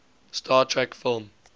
star trek film